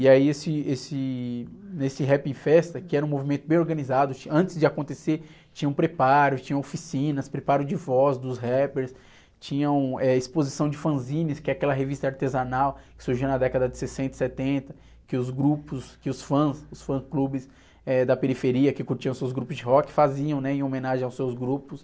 E aí, esse, esse, nesse Rap em Festa, que era um movimento bem organizado, antes de acontecer tinham preparos, tinham oficinas, preparo de voz dos rappers, tinham, eh, exposição de fanzines, que é aquela revista artesanal que surgiu na década de sessenta e setenta, que os grupos, que os fãs, os fã clubes, eh, da periferia que curtiam seus grupos de rock faziam, né? Em homenagem aos seus grupos.